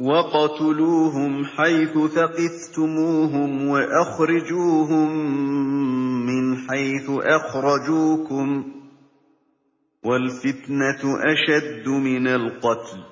وَاقْتُلُوهُمْ حَيْثُ ثَقِفْتُمُوهُمْ وَأَخْرِجُوهُم مِّنْ حَيْثُ أَخْرَجُوكُمْ ۚ وَالْفِتْنَةُ أَشَدُّ مِنَ الْقَتْلِ ۚ